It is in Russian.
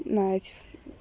надь